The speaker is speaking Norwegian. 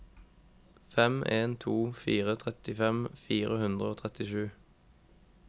fem en to fire trettifem fire hundre og trettisju